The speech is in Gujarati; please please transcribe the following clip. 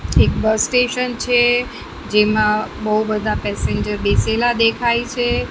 એક બસ સ્ટેશન છે જેમાં બહુ બધા પેસેન્જર બેસેલા દેખાય છે.